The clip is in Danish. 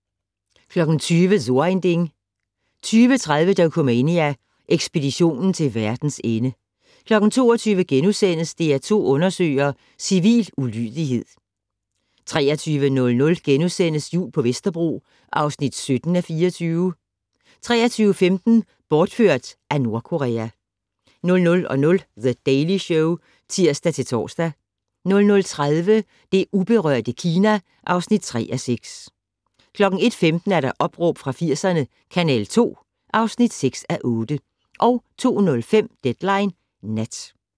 20:00: So ein Ding 20:30: Dokumania: Ekspeditionen til verdens ende 22:00: DR2 Undersøger: Civil ulydighed * 23:00: Jul på Vesterbro (17:24)* 23:15: Bortført af Nordkorea 00:05: The Daily Show (tir-tor) 00:30: Det uberørte Kina (3:6) 01:15: Opråb fra 80'erne - Kanal 2 (6:8) 02:05: Deadline Nat